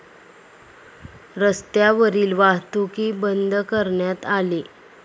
रस्त्यावरील वाहतूकही बंद करण्यात आली.